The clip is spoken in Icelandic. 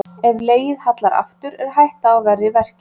Ef legið hallar aftur er hætta á verri verkjum.